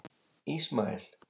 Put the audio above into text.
Ismael